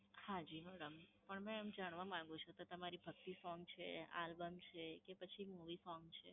હા જી madam. પણ મેં એમ જાણવા માંગુ છું કે તમારે ભક્તિ song છે, album છે કે પછી movie song છે?